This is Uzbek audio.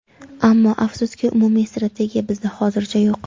Ammo afsuski umumiy strategiya bizda hozircha yo‘q.